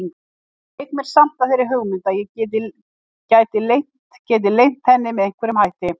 Leik mér samt að þeirri hugmynd að ég geti leynt henni með einhverjum hætti.